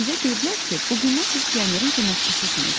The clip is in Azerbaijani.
Bizə deyiblər ki, bu gündən siz pionerin köməkçisisiniz.